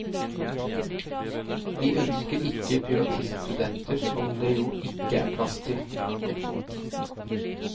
Vi ønsker ikke privatiststudenter som det jo ikke er plass til.